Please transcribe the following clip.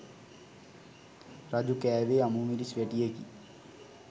රජු කෑවේ අමුමිරිස් වැටියකි.